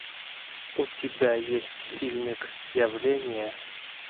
у тебя есть фильмик явление